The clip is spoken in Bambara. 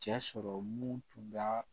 Cɛ sɔrɔ mun tun bɛ